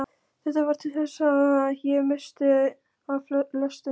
Þetta varð til þess að ég missti af lestinni.